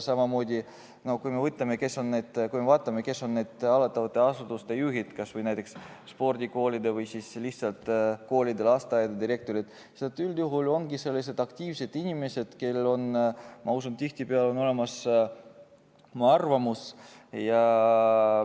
Samamoodi, kui me vaatame, kes on hallatavate asutuste juhid, kas või näiteks spordikoolide või lihtsalt koolide ja lasteaedade direktorid, siis üldjuhul nad ongi aktiivsed inimesed, kellel on, ma usun, tihtipeale olemas oma arvamus.